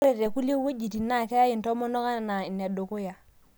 Ore tookulie wuejitin naa ore intomonok naa kayai enaa inedukuya.